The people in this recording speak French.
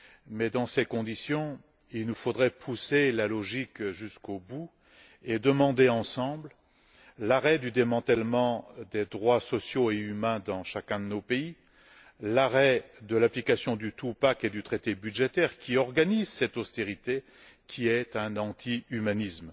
Mais dans ces conditions, il nous faudrait pousser la logique jusqu'au bout, et demander ensemble l'arrêt du démantèlement des droits sociaux et humains dans chacun de nos pays, l'arrêt de l'application du two pack et du traité budgétaire ils organisent cette austérité, qui constitue un anti humanisme.